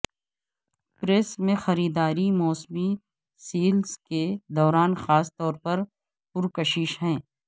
Paris میں خریداری موسمی سیلز کے دوران خاص طور پر پرکشش ہے